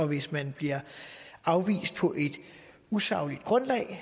hvis man bliver afvist på et usagligt grundlag